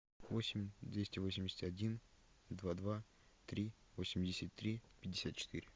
восемь двести восемьдесят один два два три восемьдесят три пятьдесят четыре